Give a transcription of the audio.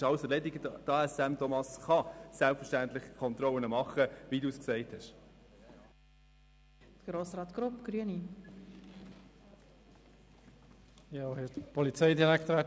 Das Transportunternehmen Aare Seeland Mobil (ASM) kann selbstverständlich Kontrollen machen, wie Grossrat Rufener gesagt hat.